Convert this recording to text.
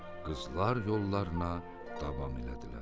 Qızlar yollarına davam elədilər.